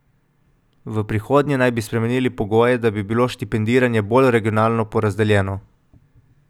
V prihodnje naj bi spremenili pogoje, da bi bilo štipendiranje bolj regionalno porazdeljeno.